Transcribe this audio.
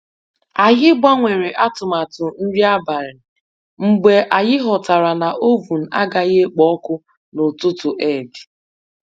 Anyị gbanwere atụmatụ nri abalị mgbe anyị ghọtara na oven agaghị ekpo ọkụ n'ụtụtụ Eid